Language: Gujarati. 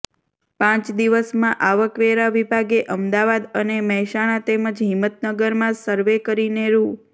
પાંચ દિવસમાં આવકવેરા વિભાગે અમદાવાદ અને મહેસાણા તેમજ હિમતનગરમાં સરવે કરીને રૂ